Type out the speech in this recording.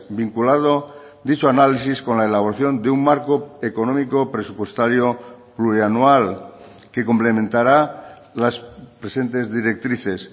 vinculado dicho análisis con la elaboración de un marco económico presupuestario plurianual que complementará las presentes directrices